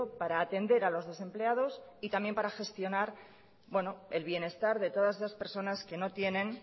para atender a los desempleados y también para gestionar el bienestar de todas esas personas que no tienen